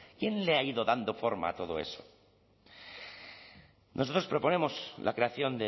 quién le ha ido dando forma a todo eso nosotros proponemos la creación